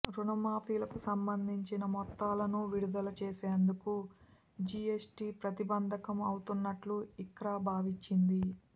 రుణమాఫీలకు సంబంధించిన మొత్తాలను విడుదల చేసేందుకు జిఎస్టి ప్రతిబంధకం అవుతు న్నట్లు ఇక్రా భావించింది